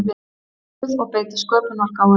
nokkuð og beita sköpunargáfunni.